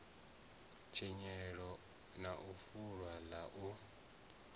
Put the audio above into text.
tshinyalelo na fulo ḽa u